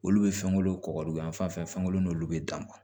Olu bɛ fɛnkolo kɔgɔdɔyan fan fɛ fɛnko n'olu bɛ dan